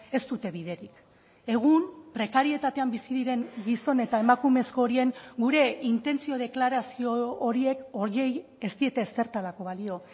ez dute biderik egun prekarietatean bizi diren gizon eta emakumezko horien gure intentzio deklarazio horiek horiei ez diete ezertarako balio